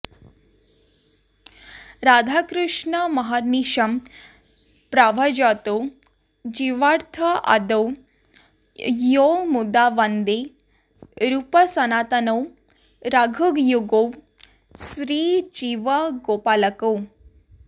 राधाकृष्णमहर्निशं प्रभजतौ जीवार्थदौ यौ मुदा वन्दे रूपसनातनौ रघुयुगौ श्रीजीवगोपालकौ